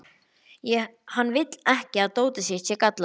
Hann vill ekki að dótið sitt sé gallað.